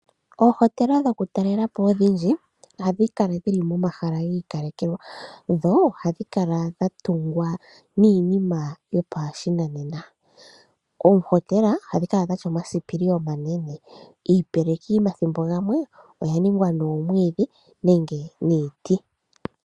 Oohotela dhokutalela po odhindji ohadhi kala dhili momahala gii kalekelwa, dho odha tungwa niinima yopashinanena, oohotela ohadhi kala dhatya omasipili omanene ,iipeleki omathimbo gamwe oyaningwa nomwiidhi nenge niiti.